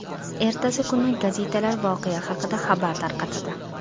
Ertasi kuni gazetalar voqea haqida xabar tarqatadi.